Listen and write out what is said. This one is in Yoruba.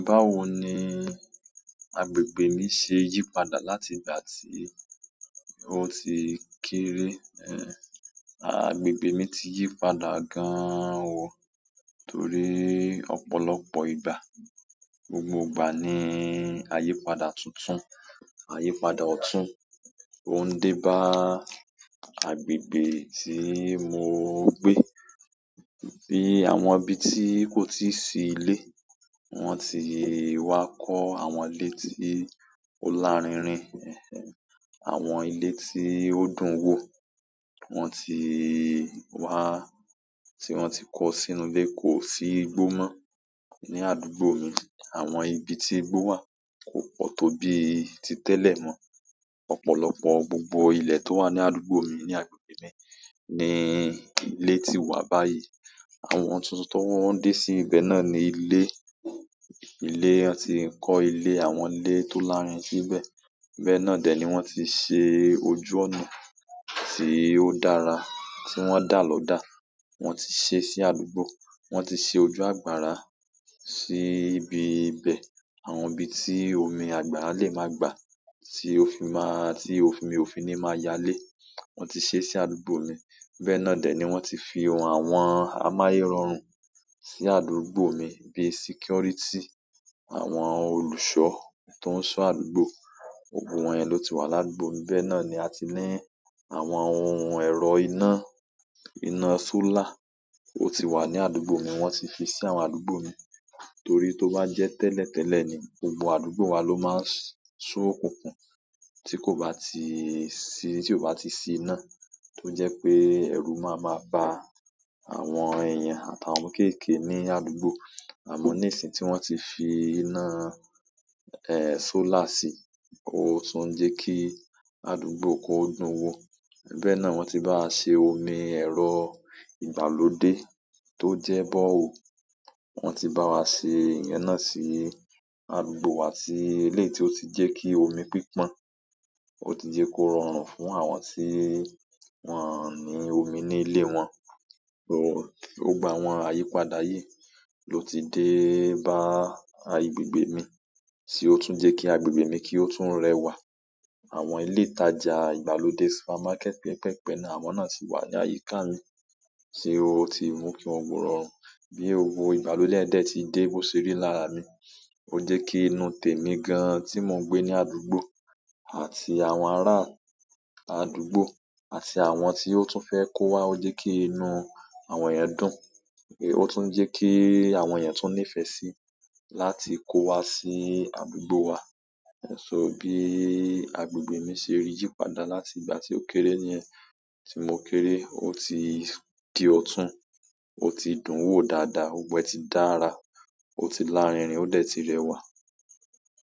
Báwo ni agbègbè mi ṣe yí padà láti ìgbà tí o ti kéré ẹ? Agbègbè mi ti yí padà gan an o, torí ọ̀pọ̀lọpọ̀ ìgbà. Gbogbo ìgbà ní ayípadà tuntun, ayípadà ọ̀tún, tó ń dé bá agbègbè tí mo ń gbé. Bí àwọn ibi tí kò tíì sí ilé, wọ́n ti wá kọ́ àwọn ilé tí ó lárinrin, àwọn ilé tí ó dùn wò, wọ́n ti wá, tí wọ́n ti kọ sínú ilé kò sí igbó mọ́ ní àdúgbò mi. Àwọn ibi tí igbó wà kò pọ̀ tó bíi ti tẹ́lẹ̀ mọ́. Ọ̀pọ̀lọpọ̀ gbogbo ilẹ̀ tó wà ní àdúgbò mi ní agbègbè mi ni ilé ti wà báyìí. Àwọn tuntun tó wọ́n ń dé sí ibẹ̀ náà ni ilé. Ilé, wọn ti ń kọ́ ilé àwọn ilé tó lárinrin síbẹ̀. Bẹ́ẹ̀ náà dẹ̀ ni wọ́n ti ṣe ojú ọ̀nà tí ó dára, tí wọ́n dà lọ́dà. Wọ́n ti ṣe sí àdúgbò. Wọ́n ti ṣe ojú àgbàrá sí ibi ibẹ̀. Àwọn ibi tí omi àgbàrá lè máa gbà, tí ó fi máa, tí omi ò fi ní máa yálé, wọ́n ti ṣe sí àdúgbò mi. Bẹ́ẹ̀ náà dẹ̀ ni wọ́n ti fi ohun àwọn amáyẹ́rọrùn sí àdúgbò mi bí i security. Àwọn olùṣọ́ tó ń ṣọ́ àdúgbò, gbogbo wọn yẹn ló ti wà ládùúgbò mi. Bẹ́ẹ̀ náà ni a ti ní àwọn ohun ẹ̀rọ iná, iná solar, ó ti wà ní àdúgbò mi wọ́n ti fi sí àwọn àdúgbò mi. Torí tó bá jẹ́ tẹ́lẹ̀ tẹ́lẹ̀ ni, gbogbo àdúgbò wa ló máa ń ṣú òkùnkùn, tí kò bá ti sí, tí kò bá ti sí iná. Tó jẹ́ pé ẹ̀rù má máa ba àwọn èèyàn àtàwọn ọmọ kéékèèké ní àdúgbò. Àmọ́ ní ìsìn tí wọ́n ti fi iná, solar sí, ó tún ń jẹ́ kí àdúgbò kó dùn wò. Bẹ́ẹ̀ náà wọ́n ti bá wa ṣe omi ẹ̀rọ ìgbàlódé tó jẹ́ borehole. Wọn ti bá wa ṣe ìyẹn náà sí àdúgbò wa sì eléyìí tí ó ti jẹ́ kí omi pípọ́n. Ó ti jẹ́ kó rọrùn fún àwọn tí wọ́n ò ní omi ní ilé wọn. Gbogbo àwọn ayípadà yìí ló ti dé bá agbègbè mi sí ó tún jẹ́ kí agbègbè mi kí ó tún rẹwà. Àwọn ilé ìtajà ìgbàlódé, supermarket pẹ́ẹ́pẹ̀ẹ̀pẹ́ náà, àwọn náà ti wà ní àyíká mi sé ó ti mú kí gbogbo ẹ̀ rórùn. Bí i òwò ìgbàlódé ẹ̀ dẹ̀ ti dé bó ṣe rí lára mi. Ó jẹ́ kí inú tèmi gan-an tí mò ń gbé ní àdúgbò àti àwọn ará àdúgbò àti àwọn tí ó tún fẹ́ kó wá ó jẹ́ kí inú àwọn yẹn dùn. Ó tún ń jẹ́ kí àwọn yẹn tún nífẹ̀ẹ́ síi láti kó wá sí àdúgbò wa. So bí agbègbè mi ṣe yí padà láti ìgbà tí ó kéré nìyẹn. Tí mo kéré ó ti di ọ̀tún, ó ti dùn wò dáadáa, gbogbo ẹ̀ ti dára, ó ti lárinrin, ó dẹ̀ ti rẹwà.